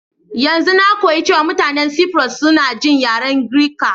Yanzun na koyi cewa mutanin Cyprus suna jin yaren Girka.